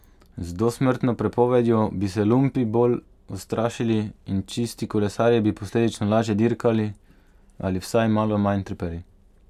Z dosmrtno prepovedjo bi se lumpi bolj ustrašili in čisti kolesarji bi posledično lažje dirkali ali vsaj malo manj trpeli.